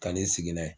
Kan'i sigi n'a ye